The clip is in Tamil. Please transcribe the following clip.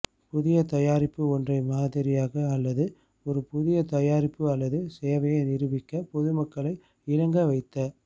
புதிய தயாரிப்பு ஒன்றை மாதிரியாக அல்லது ஒரு புதிய தயாரிப்பு அல்லது சேவையை நிரூபிக்க பொதுமக்களை இணங்க வைத்தல்